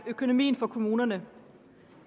økonomien for kommunerne